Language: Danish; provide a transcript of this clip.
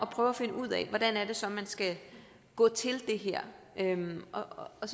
prøve at finde ud af hvordan det så er man skal gå til det her og